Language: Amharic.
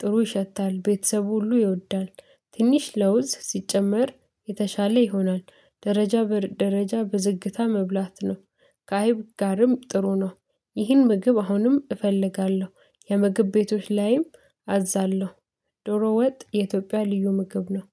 ጥሩ ይሸታል። ቤተሰብ ሁሉ ይወዳል። ትንሽ ለውዝ ሲጨመር የተሻለ ይሆናል። ደረጃ ደረጃ በዝግታ መብላት ነው። ከአይብ ጋርም ጥሩ ነው። ይህን ምግብ አሁንም እፈልጋለሁ። የምግብ ቤቶች ላይም አዛለሁ። ዶሮ ወጥ የኢትዮጵያ ልዩ ምግብ ነው።